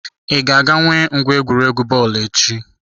I ga-aga enwe ngwa egwuregwu bọọlụ echi?